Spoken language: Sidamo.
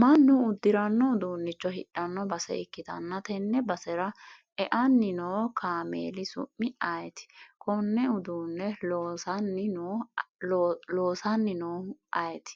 mannu uddiranno uduunnicho hidhno base ikktanna, tenne basera eanni noo kaameeli su'mi ayeeti? konne uduunne loosanni noo ayeeti?